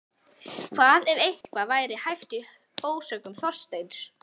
Hvað ef eitthvað væri hæft í ásökunum Þorsteins?